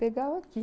Pegava aqui.